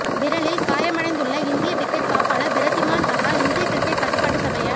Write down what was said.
விரலில் காயமடைந்துள்ள இந்திய விக்கெட் காப்பாளர் விரித்திமான் சஹா இந்திய கிரிக்கட் கட்டுப்பாட்டு சபைய